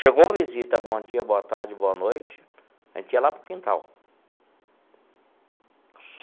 Chegou visita, bom dia, boa tarde, boa noite, a gente ia lá para o quintal.